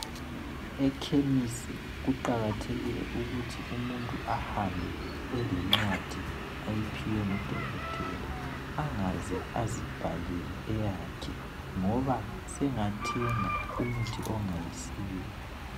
Ekhemisi kuqakathekile ukuthi umuntu ahambe elencwadi ayiphiwe ngudokotela angaze azibhalela eyakhe ngoba sengathenga umuthi ongayisiwo